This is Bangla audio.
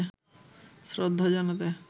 শ্রদ্ধা জানাতে